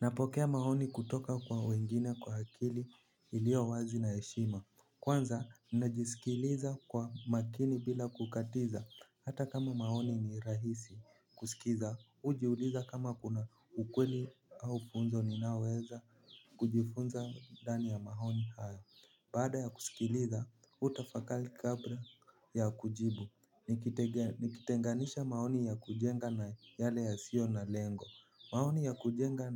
Napokea maoni kutoka kwa wengine kwa akili iliyo wazi na heshima. Kwanza, ninajisikiliza kwa makini bila kukatiza. Hata kama maoni ni rahisi kusikiza, hujiuliza kama kuna ukweli au funzo ninaoweza kujifunza ndani ya maoni haya. Baada ya kusilikiza, hutafakari kabla ya kujibu, nikutege nikitenganisha maoni ya kujenga na yale yasiyo na lengo. Maoni ya kujenga